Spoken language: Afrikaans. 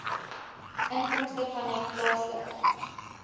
inkomste vanuit plaaslike